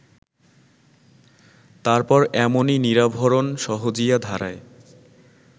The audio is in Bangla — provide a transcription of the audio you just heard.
তারপর এমনই নিরাভরণ সহজিয়া ধারায়